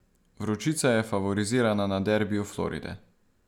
Vročica je favorizirana na derbiju Floride.